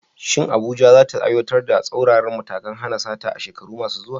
Shin Abuja za ta aiwatar da tsauraran matakan hana sata a shekaru masu zuwa?